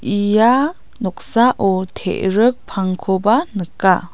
ia noksao te·rik pangkoba nika.